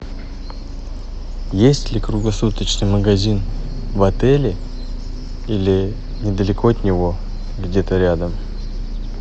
есть ли круглосуточный магазин в отеле или недалеко от него где то рядом